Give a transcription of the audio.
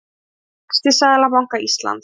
Sjá vexti Seðlabanka Íslands